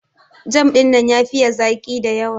Jam dinnan ya fiye zaki da yawa.